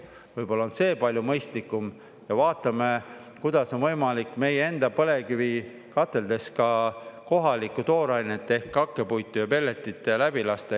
Võib-olla on see palju mõistlikum ja vaatame, kuidas on võimalik meie enda põlevkivikateldes ka kohalikku toorainet ehk hakkepuitu ja pelletit läbi lasta.